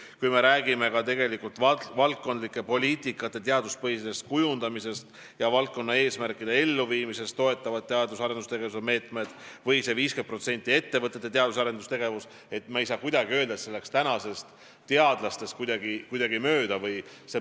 Kui me räägime valdkondlike poliitikate teaduspõhisest kujundamisest ja valdkonnaeesmärkide elluviimisest, seda toetavatest teadus- ja arendustegevuse meetmetest või sellest 50%-st, mis läheb ettevõtete teadus- ja arendustegevusele, siis me ei saa kuidagi öelda, et see raha oleks teadlastest kuidagi mööda läinud.